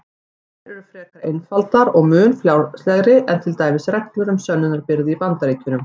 Þær eru frekar einfaldar og mun frjálslegri en til dæmis reglur um sönnunarbyrði í Bandaríkjunum.